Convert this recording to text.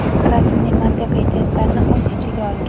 rasmli mantiqiy testlarni o‘z ichiga olgan.